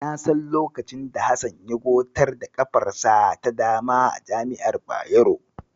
Na san lokacin da Hassan ya gotar da ƙafarsa ta dama a jami'ar Bayero.